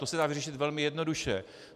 To se dá vyřešit velmi jednoduše.